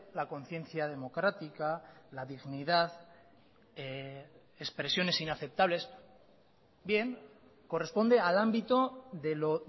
la conciencia democrática la dignidad expresiones inaceptables bien corresponde al ámbito de lo